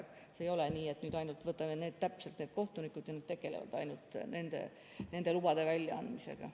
Aga see ei ole nii, et nüüd ainult võtame täpselt need kohtunikud ja nad tegelevad ainult nende lubade väljaandmisega.